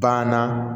Banna